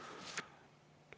Aitäh!